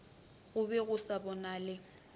go be go sa bonale